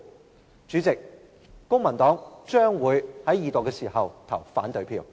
代理主席，公民黨將會在二讀時投反對票。